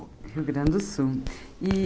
Rio Grande do Sul. E